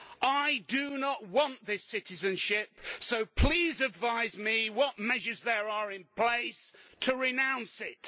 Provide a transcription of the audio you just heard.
I do not want this citizenship so please advise me what measures there are in place to renounce it.